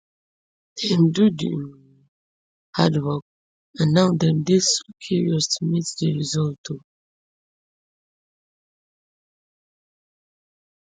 dem do di um hard work and now dem dey so curious to meet di result um